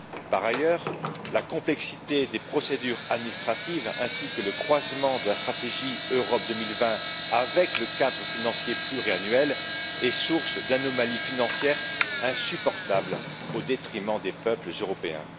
Par ailleurs, la complexité des procédures administratives ainsi que le croisement de la stratégie Europe 2020 avec le cadre financier pluriannuel sont source d'anomalies financières insupportables au détriment des peuples européens.